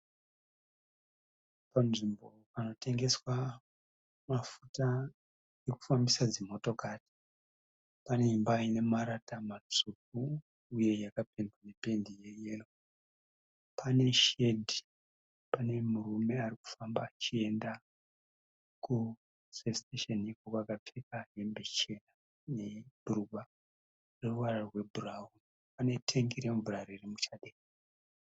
Panzvimbo panotengeswa mafuta ekufambisa dzimotokari. Pane imba ine marata matsvuku uye yakapendwa nependi rweyero. Pane shedhi. Pane murume arikufamba achienda ku(service station) akapfeka hembe chena nebhurugwa reruvara rwebhurawuni. Pane tengi remvura ririmuchadenga